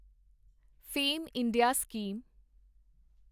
fame India scheme